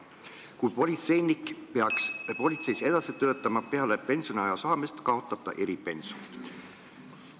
Kui politseinik peaks politseis edasi töötama peale pensioniaja saabumist, kaotab ta eripensioni.